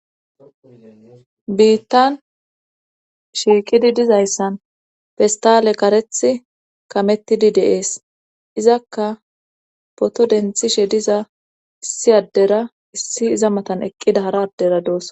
biittan shiiqidi dizayssan pistale kareth kamettidi deees izakka poto denthishe diza issi addera issi iza matan eqqida hara addera doosa